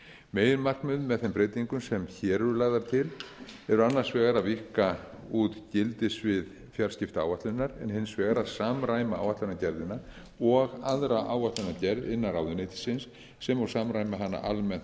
meginmarkmið með þeim breytingum sem hér eru lagðar til eru annars vegar að víkka út gildissvið fjarskiptaáætlunar en hins vegar að samræma áætlunargerðina og aðra áætlunargerð innan ráðuneytisins sem og samræma hana almennt